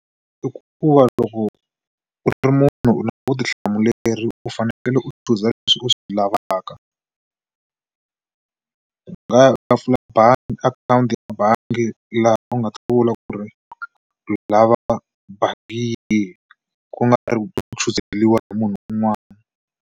I ku va loko u ri munhu u na vutihlamuleri u fanekele u chuza leswi u swi lavaka u nga u nga pfula bangi akhawunti ya bangi laha u nga ta vula ku ri u lava bangi yi hi ku nga ri ku chuzeriwa hi munhu un'wana.